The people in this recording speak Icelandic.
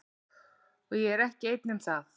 Og ég er ekki einn um það.